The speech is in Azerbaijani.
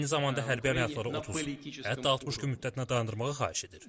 Və eyni zamanda hərbi əməliyyatları 30, hətta 60 gün müddətinə dayandırmağı xahiş edir.